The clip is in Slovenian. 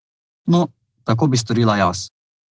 No, tako bi storila jaz.